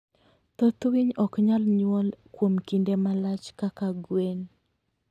Thoth winy ok nyal nyuol kuom kinde malach kaka gwen.